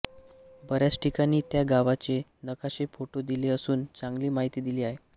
बऱ्याच ठिकाणी त्या गावाचे नकाशे फोटो दिले असून चांगली माहिती दिली आहे